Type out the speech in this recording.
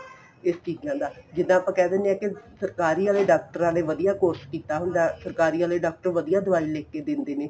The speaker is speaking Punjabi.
ਇਸ ਚੀਜ਼ਾਂ ਦਾ ਜਿੱਦਾਂ ਆਪਾਂ ਕਹਿ ਦਿਨੇ ਆ ਕੇ ਸਰਕਾਰੀ ਵਾਲੇ ਡਾਕਟਰਾਂ ਨੇ ਵਧੀਆ course ਕੀਤਾ ਹੁੰਦਾ ਸਰਕਾਰੀ ਵਾਲੇ ਡਾਕਟਰ ਵਧੀਆ ਦਵਾਈ ਲਿੱਖ ਕੇ ਦਿੰਦੇ ਨੇ